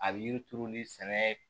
A bɛ yiri turu ni sɛnɛ